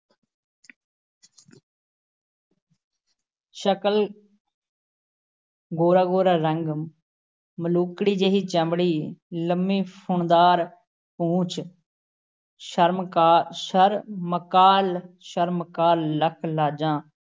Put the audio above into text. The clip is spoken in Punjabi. ਸ਼ਕਲ । ਗੋਰਾ ਗੋਰਾ ਰੰਗ, ਮਲੂਕੜੀ ਜਿਹੀ ਚਮੜੀ, ਲੰਮੀ ਫੁੰਮਣਦਾਰ ਪੂਛ, ਸ਼ਰਮਕਾ ਸ਼ਰਮਾਕਲ-ਸ਼ਰਮਾਕਲ ਲੱਖ ਲਾਜਾਂ